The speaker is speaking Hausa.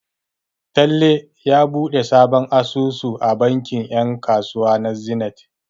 Talle ya buɗe sabon asusu a bankin 'yan kasuwa na Zenith.